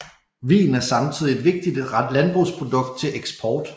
Vin er samtidig et vigtigt landbrugsprodukt til eksport